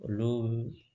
Olu